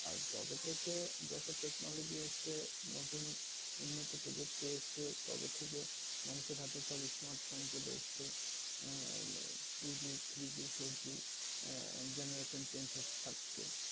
আর যবে থেকে যত technology এসছে, নতুন উন্নত প্রযুক্তি এসছে তবে থেকে অনেকের হাতে তবে smart phone চলে এসছে আহ two G, three G, four G আহ যেমন এখন change হতে থাকছে।